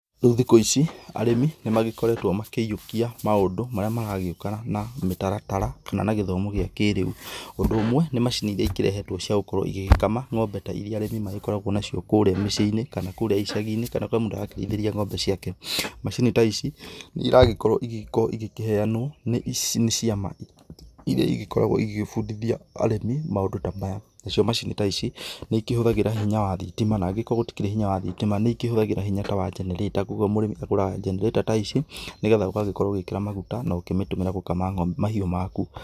Rĩu thikũ ici, arĩmi nĩmagĩkoretwo makĩiyũkia maũndũ marĩa maragĩũka na mĩtaratara na gĩthomo kĩrĩa kĩ rĩu. ũndũ ũmwe nĩ macini iria ikĩrehetwo ciagũgĩkorwo igĩgĩkama ng'ombe ta iria arĩmi magĩkoragwo nacio kũrĩa mĩciĩ-inĩ kana kũrĩa mũndũ arakĩrĩithĩria ng'ombe ciake. Macini ta ici, nĩiragĩkorwo igĩkĩheanwo nĩ ciama iria ikoragwo igĩgĩbundihia arĩmi maũndũ ta maya. Nacio macini ta ici, nĩikĩhũthagĩra hinya wa thitima na angĩgĩkorwo gũtikĩrĩ hinya wa thitima nĩ ikĩhũthagĩra hinya ta wa generator kogwo mũrĩmi agũraga generator ta ici nĩgetha ũgagĩkorwo ũkĩgũra maguta na ũkĩmĩtũmĩra gũkama mahiũ maku.